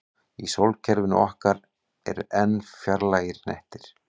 Í sólkerfinu okkar eru enn fjarlægari hnettir.